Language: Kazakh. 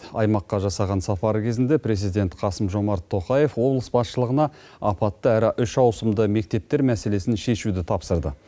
аймаққа жасаған сапары кезінде президент қасым жомарт тоқаев облыс басшылығына апатты әрі үш ауысымды мектептер мәселесін шешуді тапсырды